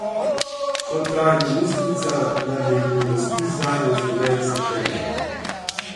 Kot pravi ministrica, naj bi bil razpis zanjo izveden septembra.